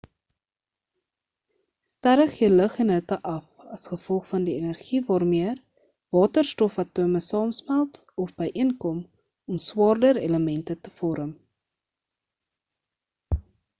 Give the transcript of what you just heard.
sterre gee lig en hitte af as gevolg van die energie waarmee hydrogen atome saamsmelt of byeenkom om swaarder elemente te vorm